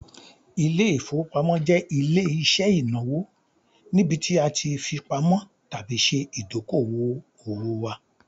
Ilé-ìfowópamọ́ jẹ ile-iṣẹ inawo nibiti a ti fipamọ tabi ṣe idoko-owo wa